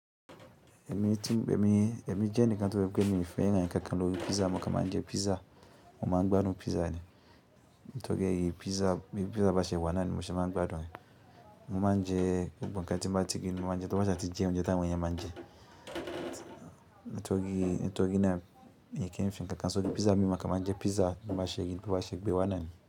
Èmi jẹ́ni kan tó ṣe wípé mi fẹ́ràn ǹkankan lórí pizza mokàn ma ńjẹ pizza mo ma ńgbádùn pizza ni. Ńtorí ẹ yí pizza bí pizza bá ṣe wá náà ni mo mọ̀ ṣe ma ńgbádùn ẹ. Mo ma ńjẹ gbogbo ǹkan tí mbá ti rí ni mo ma ńjẹ tó bá sá ti jẹ oúnjẹ tàwọn èèyàn ma ńjẹ nítorí torí ná mi kì ńfi ǹkankan sórí pizza mi mo kàn ma ńjẹ pizza bó báṣe rí bó bá ṣe gbé wá náà ni.